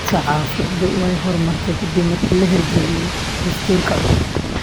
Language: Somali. Saxaafaddu way horumartay ka dib markii la hirgeliyay dastuurka cusub.